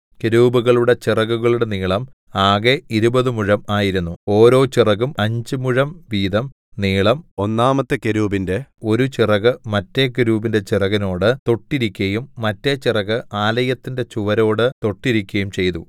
കെരൂബുകളുടെ ചിറകുകളുടെ നീളം ആകെ ഇരുപതു മുഴം ആയിരുന്നു ഓരോ ചിറകും അഞ്ച് മുഴം വീതം നീളം ഒന്നാമത്തെ കെരൂബിന്റെ ഒരു ചിറക് മറ്റേ കെരൂബിന്റെ ചിറകിനോട് തൊട്ടിരിക്കയും മറ്റേ ചിറക് ആലയത്തിന്റെ ചുവരോടു തൊട്ടിരിക്കയും ചെയ്തു